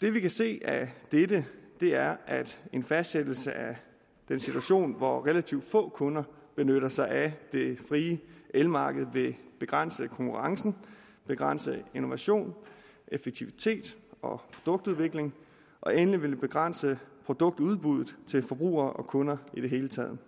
det vi kan se af dette er at en fastsættelse af den situation hvor relativt få kunder benytter sig af det frie elmarked vil begrænse konkurrencen begrænse innovation effektivitet og produktudvikling og endelig vil det begrænse produktudbuddet til forbrugere og kunder i det hele taget